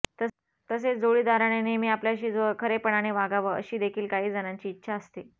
तसेच जोडीदाराने नेहमी आपल्याशी खरेपणाने वागावं अशी देखील काही जणांची इच्छा असते